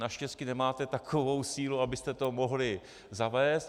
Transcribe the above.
Naštěstí nemáte takovou sílu, abyste to mohli zavést.